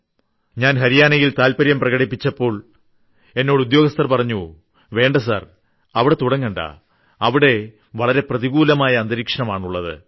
ഞാൻ ഹരിയാനയിൽ താല്പര്യം പ്രകടിപ്പിച്ചപ്പോൾ എന്നോട് ഉദ്യോഗസ്ഥർ പറഞ്ഞു വേണ്ട സർ അവിടെ തുടങ്ങണ്ട അവിടെ വളരെ പ്രതികൂലമായ അന്തരീക്ഷമാണുള്ളത്